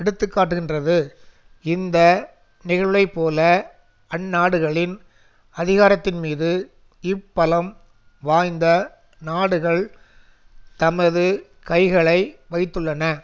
எடுத்து காட்டுகின்றது இந்த நிகழ்வைப்போல அந்நாடுகளின் அதிகாரத்தின்மீது இப்பலம் வாய்ந்த நாடுகள் தமது கைகளை வைத்துள்ளன